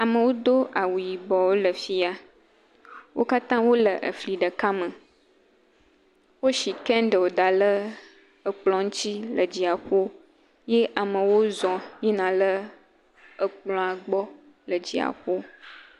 Amewo do awu yibɔ, wole fi ya. Wo katã wole efli ɖeka me. Woshi kɛŋɖeli da lɛɛ ekplɔ̃ ŋtsi le dziaƒo ye amewo zɔŋ yina lɛɛ ekplɔ̃a gbɔ le dziaƒo.